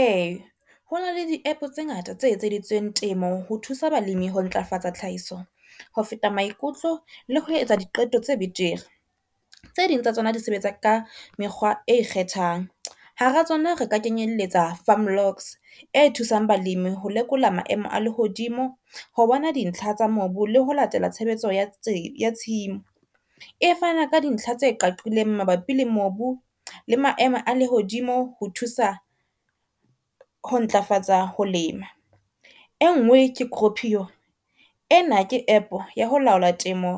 E, hona le di app tse ngata tse etseditsweng temo ho thusa balimi ho ntlafatsa tlhahiso ho feta maikutlo, le ho etsa diqeto tse betere. Tse ding tsa tsona di sebetsa ka mekgwa e ikgethang. Hara tsona re ka kenyelletsa Farm locks e thusang balemi ho lekola maemo a lehodimo ho bona dintlha tsa mobu le ho latela tshebetso ya tshimo, e fana ka dintlha tse qaqileng mabapi le mobu le maemo a lehodimo ho thusa ho ntlafatsa ho lema. Engwe ke Cropio ena ke app ya ho laola temo